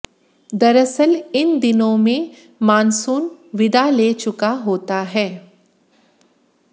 दरअसल इन दिनों में मानसून विदा ले चुका होता है